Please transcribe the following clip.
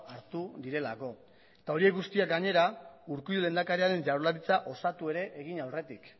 hartu direlako eta horiek guztiak gainera urkullu lehendakariaren jaurlaritza osatu ere egin aurretik